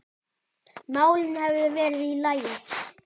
málin hefðu verið í lagi.